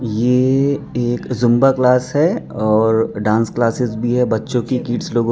ये एक Zumba class है और डांस क्लासेस भी है बच्चों की किड्स लोगों--